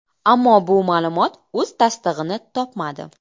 Ammo bu ma’lumot o‘z tasdig‘ini topmadi.